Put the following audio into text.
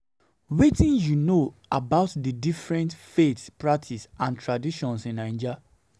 Wetin you know about di different faith practices am re traditions in Naija?